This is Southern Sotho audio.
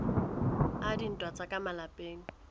a dintwa tsa ka malapeng